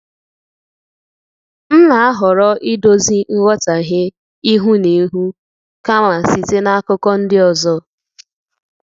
M na-ahọrọ idozi nghọtahie ihu na ihu kama site n’akụkọ ndị ọzọ.